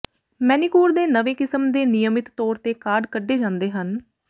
manicure ਦੇ ਨਵੇਂ ਕਿਸਮ ਦੇ ਨਿਯਮਿਤ ਤੌਰ ਤੇ ਕਾਢ ਕੱਢੇ ਜਾਂਦੇ ਹਨ